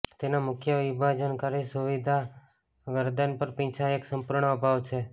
તેના મુખ્ય વિભાજનકારી સુવિધા ગરદન પર પીંછા એક સંપૂર્ણ અભાવ છે